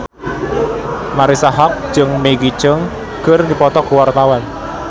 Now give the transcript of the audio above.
Marisa Haque jeung Maggie Cheung keur dipoto ku wartawan